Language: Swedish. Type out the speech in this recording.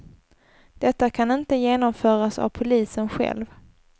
Detta kan inte genomföras av polisen själv.